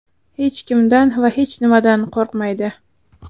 Hech kimdan va hech nimadan qo‘rqmaydi.